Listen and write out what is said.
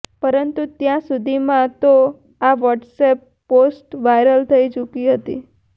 પરંતુ ત્યાં સુધીમાં તો આ વોટ્સેપ પોસ્ટ વાયરલ થઈ ચુકી હતી